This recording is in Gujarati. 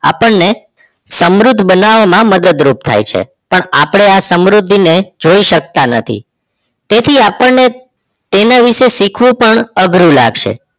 આપણે સમૃદ્ધ બનવામાં મદદ રૂપ થાય છે પણ આ સમૃદ્ધિ ને જોઈ શકતા નથી તેથી આપણે તેને વિષે શીખવું પણ અઘરું લગશે